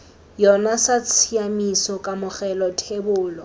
yona sa tshiamiso kamogelo thebolo